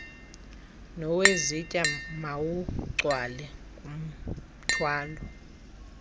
nowezitya mawugcwale ngumthwalo